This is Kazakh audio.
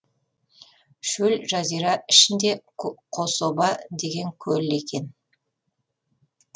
шөл жазира ішінде қособа деген көл екен